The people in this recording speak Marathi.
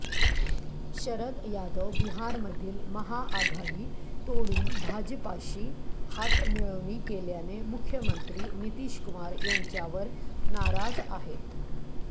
शरद यादव बिहारमधील महाआघाडी तोडून भाजपाशी हातमिळवणी केल्याने मुख्यमंत्री नितीश कुमार यांच्यावर नाराज आहेत